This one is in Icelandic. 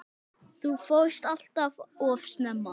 Þú fórst allt of snemma.